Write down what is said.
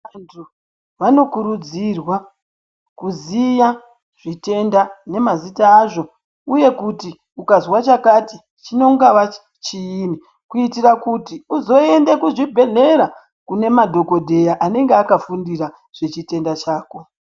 Vantu vanokurudzirwa kuziya zvitenda nemazita azvo uye kuti ukazwa chakati chinongava chiini, kuitira kuti uzoende kuzvibhedhlera kune madhogodheya anenge akafundira zvechitenda chako.